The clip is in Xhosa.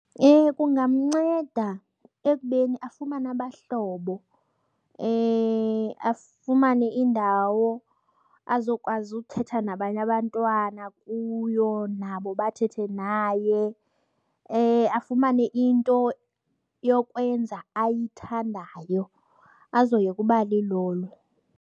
Kungamnceda ekubeni afumane abahlobo, afumane indawo azokwazi ukuthetha nabanye abantwana kuyo nabo bathethe naye. Afumane into yokwenza ayithandayo azoyeka uba lilolo.